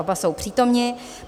Oba jsou přítomni.